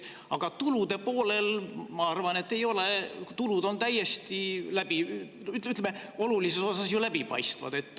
Aga tulude poolel, ma arvan, ei ole, tulud on olulises osas ju läbipaistvad.